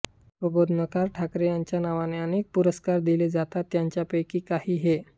प्रबोधनकार ठाकरे यांच्या नावाने अनेक पुरस्कार दिले जातात त्यांपैकी काही हे